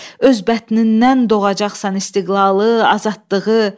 Öz bətnindən doğacaqsan istiqlalı, azadlığı.